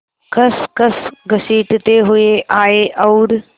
खसखस घसीटते हुए आए और